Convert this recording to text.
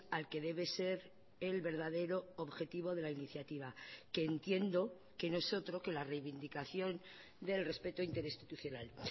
al que debe ser el verdadero objetivo de la iniciativa que entiendo que no es otro que la reivindicación del respeto interinstitucional